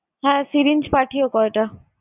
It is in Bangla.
হ্যাঁ syringe পাঠিও কয়টা।